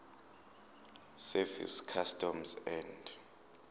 service customs and